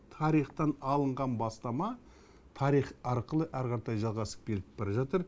тарихтан алынған бастама тарих арқылы жалғасып кетіп бара жатыр